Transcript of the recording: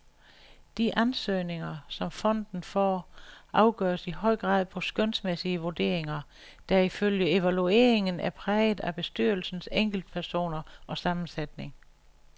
De ansøgninger, som fonden får, afgøres i høj grad på skønsmæssige vurderinger, der ifølge evalueringen er præget af bestyrelsens enkeltpersoner og sammensætning.